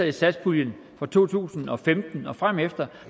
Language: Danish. i satspuljen fra to tusind og femten og fremefter